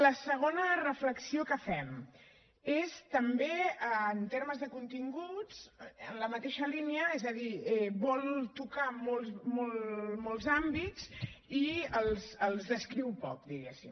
la segona reflexió que fem és també en termes de continguts en la mateixa línia és a dir vol tocar molts àmbits i els descriu poc diguem ne